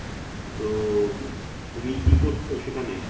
তো উম তুমি কি করছো সেখানে